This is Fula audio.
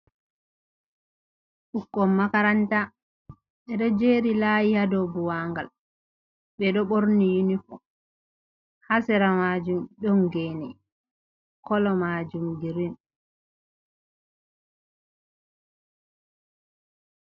Ɓiukkon makaranta, ɓeɗo jeri lahi ha dow buwangal, ɓe ɗo ɓorni yunifom, ha sera majum ɗon gene kolo majum girin.